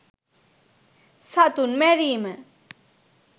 සතුන් මැරීම